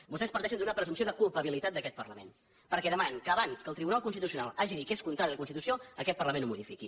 vostès parteixen d’una presumpció de culpabilitat d’aquest parlament perquè demanen que abans que el tribunal constitucional hagi dit que és contrari a la constitució aquest parlament ho modifiqui